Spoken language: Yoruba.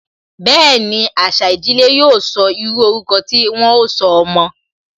Bẹẹni, àṣà ìdílé yóò sọ, írú ọrúkọ tí wọn ó sọ ọmọ